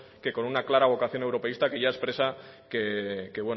que con una clara vocación europeísta que ya expresa que